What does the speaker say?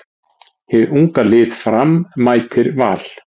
Hið unga lið Fram mætir Val.